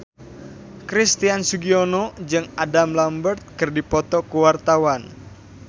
Christian Sugiono jeung Adam Lambert keur dipoto ku wartawan